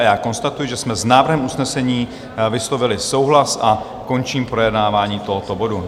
A já konstatuji, že jsme s návrhem usnesení vyslovili souhlas, a končím projednávání tohoto bodu.